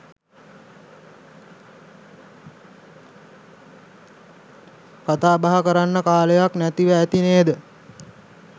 කතාබහ කරන්න කාලයක් නැතිව ඇති නේද?